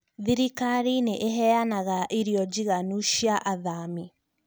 Thirikari nĩ ĩheanaga irio njiganu cīa athami